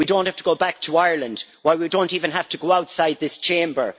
We do not have to go back to Ireland, why we do not even have to go outside this Chamber.